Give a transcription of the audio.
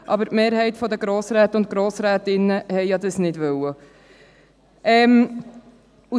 Aber die Mehrheit der Grossrätinnen und Grossräte hat dies ja nicht gewollt.